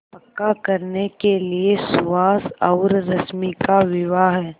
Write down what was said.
पक्का करने के लिए सुहास और रश्मि का विवाह